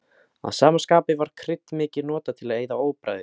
Að sama skapi var krydd mikið notað til að eyða óbragði.